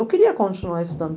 Eu queria continuar estudando.